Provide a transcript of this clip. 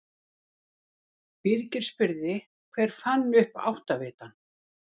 Birgir spurði: Hver fann upp áttavitann?